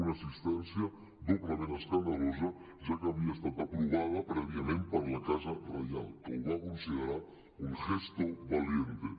una assistència doblement escandalosa ja que havia estat aprovada prèviament per la casa reial que ho va considerar un gesto valiente